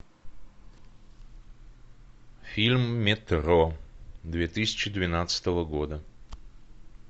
фильм метро две тысячи двенадцатого года